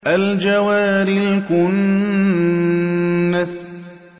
الْجَوَارِ الْكُنَّسِ